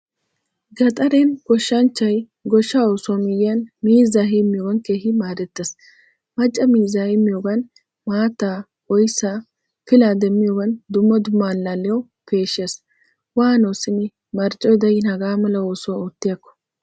Gaxaren goshshanchchay goshshaa oosuwaa miyiyan miizza heemiyogan keehin maaddeetes. Macca miizza heemiyogan maattaa, oyssa, pilla demmiyogan dumma dumma allaliyawu peeshshees. Wano simi marccoy de'in hagamala oosuwaa ottiyakko!